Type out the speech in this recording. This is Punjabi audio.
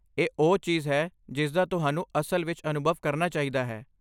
ਇਹ ਉਹ ਚੀਜ਼ ਹੈ ਜਿਸਦਾ ਤੁਹਾਨੂੰ ਅਸਲ ਵਿੱਚ ਅਨੁਭਵ ਕਰਨਾ ਚਾਹੀਦਾ ਹੈ।